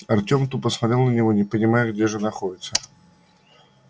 артём тупо смотрел на него не понимая где же находится